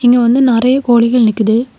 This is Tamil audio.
இங்க வந்து நறைய கோழிகள் நிக்குது.